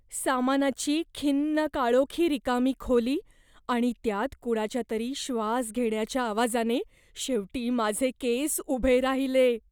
सामानाची खिन्न काळोखी रिकामी खोली आणि त्यात कुणाच्यातरी श्वास घेण्याच्या आवाजाने शेवटी माझे केस उभे राहिले.